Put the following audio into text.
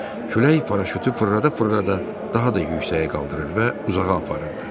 Külək paraşütü fırlada-fırlada daha da yüksəyə qaldırır və uzağa aparırdı.